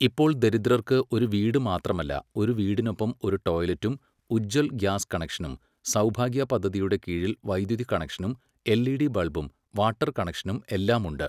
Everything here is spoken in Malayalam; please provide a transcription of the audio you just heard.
ഇപ്പോൾ ദരിദ്രർക്ക് ഒരു വീട് മാത്രമല്ല, ഒരു വീടിനൊപ്പം ഒരു ടോയ്‌ലെറ്റും , ഉജ്ജ്വൽ ഗ്യാസ് കണക്ഷനും, സൗഭാഗ്യ പദ്ധതിയുടെ കീഴിൽ വൈദ്യുതി കണക്ഷനും, എൽഇഡി ബൽബും, വാട്ടർ കണക്ഷനും എല്ലാമുണ്ട്.